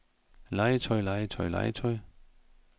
legetøj legetøj legetøj